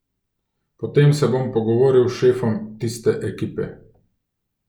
Potem se bom pogovoril s šefom tiste ekipe.